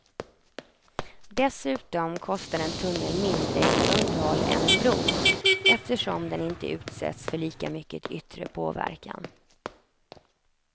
Dessutom kostar en tunnel mindre i underhåll än en bro, eftersom den inte utsätts för lika mycket yttre påverkan.